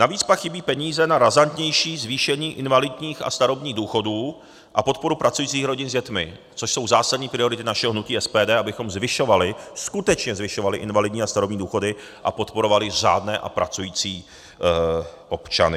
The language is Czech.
Navíc pak chybí peníze na razantnější zvýšení invalidních a starobních důchodů a podporu pracujících rodin s dětmi, což jsou zásadní priority našeho hnutí SPD, abychom zvyšovali, skutečně zvyšovali invalidní a starobní důchody a podporovali řádné a pracující občany.